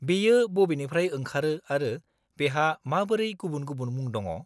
-बेयो बबेनिफ्राय ओंखारो आरो बेहा माबोरै गुबुन गुबुन मुं दङ?